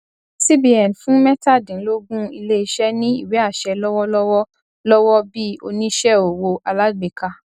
cbn fún mẹtadínlógún iléiṣẹ ní ìwéàṣẹ lọwọ lọwọ lọwọ bí oníṣẹ owó alágbèká